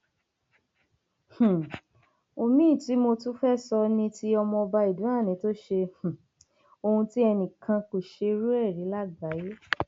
um omiín tí mo tún fẹẹ sọ ni ti ọmọọba idoani tó ṣe um ohun tí enìkan kò ṣerú ẹ rí lágbàyé